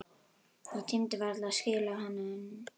Ég tímdi varla að skila henni.